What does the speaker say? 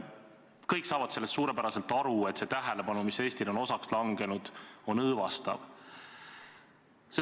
Kõik saavad suurepäraselt aru, et see tähelepanu, mis Eestile on osaks langenud, on õõvastav.